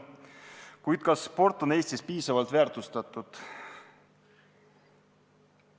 Kuid kas sport on Eestis piisavalt väärtustatud?